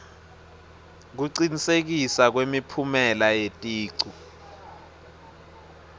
kucinisekiswa kwemiphumela yeticu